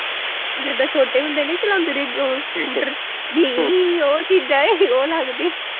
ਜਿੱਦਾਂ ਛੋਟੇ ਹੁੰਦੇ ਨੀ ਚਲਾਉਂਦੇ ਰਹੇ ਉਹ ਸਕੂਟਰ ਜੀ ਉਹ ਚੀਜ਼ਾਂ ਹੈ ਉਹ ਲੱਗਦੀ